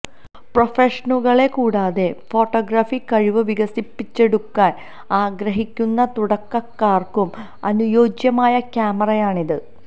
പ്രൊഫഷണലുകളെ കൂടാതെ ഫോട്ടോഗ്രഫി കഴിവ് വികസിപ്പിച്ചെടുക്കാന് ആഗ്രഹിക്കുന്ന തുടക്കക്കാര്ക്കും അനുയോജ്യമായ ക്യാമറയാണിത്